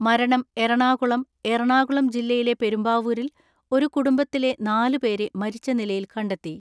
മരണം എറണാകുളം, എറണാകുളം ജില്ലയിലെ പെരുമ്പാവൂരിൽ ഒരു കുടുംബത്തിലെ നാലു പേരെ മരിച്ച നിലയിൽ കണ്ടെത്തി.